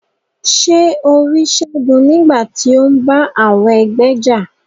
Ṣe o ri Segun nigbati o n bá àwọn ẹgbẹ́ já?